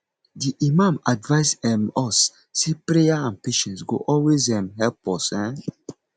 di imam advice um us say prayer and patience go always um help us um